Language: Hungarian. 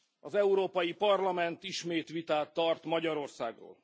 Az Európai Parlament ismét vitát tart Magyarországról.